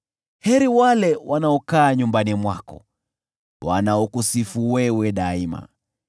Heri wale wanaokaa nyumbani mwako, wanaokusifu wewe daima.